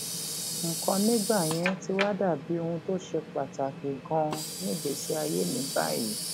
nǹkan nígbà yẹn ti wá dà bí ohun tó ṣe pàtàkì ganan nígbèésí ayé mi báyìí